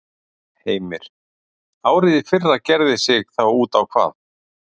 Heimir: Árið í fyrra gerði sig þá út á hvað?